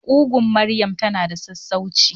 Kugun maryam tana da sassauci.